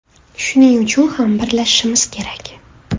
Shuning uchun ham birlashishimiz kerak.